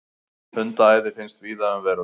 Hundaæði finnst víða um veröld.